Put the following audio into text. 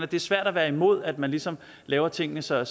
det er svært at være imod at man ligesom laver tingene så